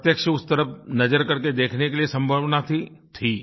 प्रत्यक्ष उस तरफ़ नज़र करके देखने के लिए सम्भावना थी थी